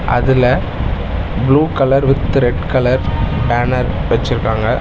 அதுல blue colour with red colour banner வச்சிருக்காங்க.